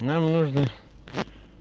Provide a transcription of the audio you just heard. нам нужно